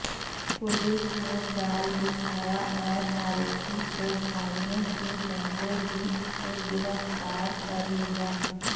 police ने जाल बिछाया और आरोपी को भागने से पहले ही उसे गिरफ्तार कर लिया